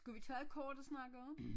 Skulle vi tage et kort at snakke om